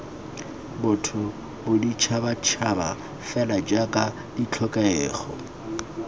botho boditšhabatšhaba fela jaaka ditlhokego